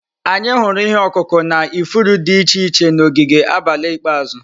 Anyị hụrụ ihe ọkụkụ na ifuru dị iche iche na ogige abalị ikpeazụ.